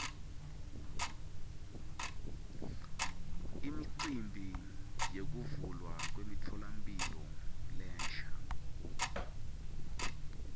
imicimbi yekuvulwa kwemtfolamphilo lensha